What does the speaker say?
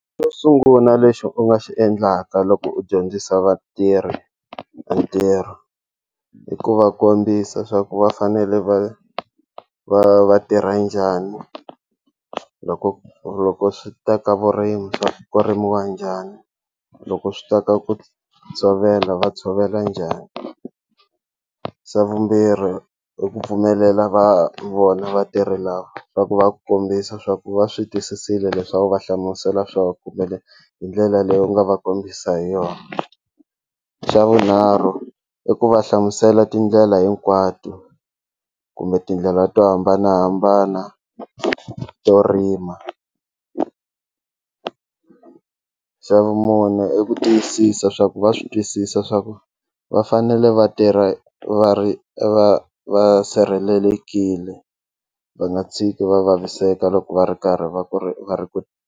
Xo sungula lexi u nga xi endlaka loko u dyondzisa vatirhi ntirho hi ku va kombisa swa ku va fanele va va va tirha njhani loko loko swi ta ka vurimi swa ku rimiwa njhani loko swi ta ka ku tshovela va tshovela njhani xa vumbirhi i ku pfumelela va vona vatirhi lava swa ku va ku kombisa swa ku va swi twisisile leswi a wu va hlamusela swa kumbe hi ndlela leyi u nga va kombisa hi yona xa vunharhu i ku va hlamusela tindlela hinkwato kumbe tindlela to hambanahambana to rima xa vumune i ku twisisa swa ku va swi twisisa swa ku va fanele va tirha va ri va va va sirhelelekile va nga tshiki va vaviseka loko va ri karhi va ku ri va ri ku.